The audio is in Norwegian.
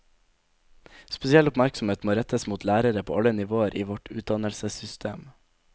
Spesiell oppmerksomhet må rettes mot lærere på alle nivåer i vårt utdannelsessystem.